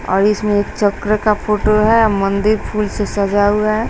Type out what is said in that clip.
और इसमें एक चक्र का फोटो है और मंदिर फूल से सजा हुआ है।